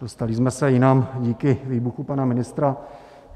Dostali jsme se jinam díky výbuchu pana ministra.